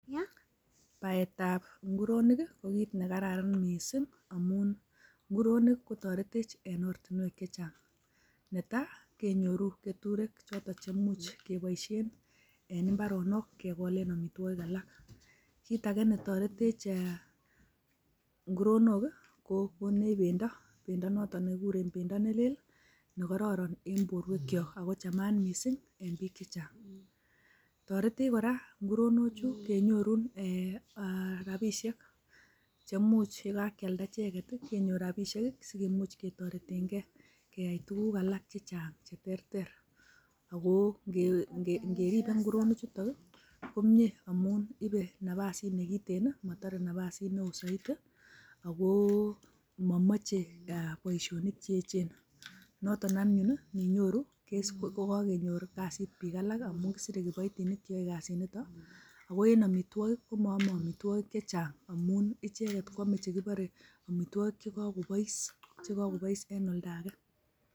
Ni ko baetab inguroniik, ko kiit nekararan missing, amun nguronik kotoretech en oratinwek chechang. Netai kenyoru keturek chotok cheimuch keboishien en imbaroonok kegolen. amitwogik alak. kitage netoretech inguronok kokonech beindo nenotok kokaroron en borwekyok amun chamat missing i,toretech kora inguronochu kenyoruun rabisiek cheumuch ibakialdaa icheget kenyor rabisiek sikemuch kotoreten gee keyai tuguuk aalak chechang cheterter, ako ingomiten inguronichu komoche napasi nekiten momoche naapas neo, ak momoche boishonik cheechen. Noton anyun indinyoru kosiche kasit biik alak kisire kiboitinik akoe en amitwogiik komooeme amitwogiik chechang, amu icheget kwome amitwogik chekakobois en oldage